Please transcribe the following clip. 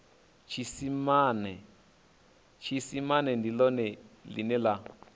tshiisimane ndi ḽone ḽine ḽa